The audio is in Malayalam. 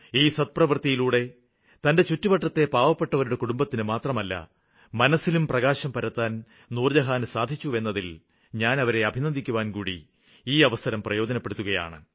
ഈ സത്പ്രവൃത്തിയിലൂടെ തന്റെ ചുറ്റുവട്ടത്തെ പാവപ്പെട്ടവരുടെ കുടുംബത്തിന് മാത്രമല്ല മനസ്സിലും പ്രകാശം പരത്താന് നൂര്ജ്ജഹാന് സാധിച്ചുവെന്നതില് ഞാന് അവരെ അഭിനന്ദിക്കുവാന്കൂടി ഈ അവസരം പ്രയോജനപ്പെടുത്തുകയാണ്